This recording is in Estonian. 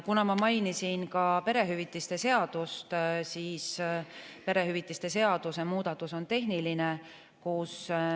Kuna ma mainisin ka perehüvitiste seadust, siis ütlen, et perehüvitiste seaduse muudatus on tehniline.